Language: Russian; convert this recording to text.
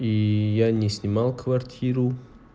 и я не снимал квартиру